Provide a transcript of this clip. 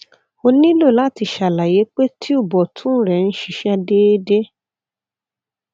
o nilo lati ṣalaye pe tube ọtun rẹ n ṣiṣẹ deede